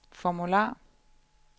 formular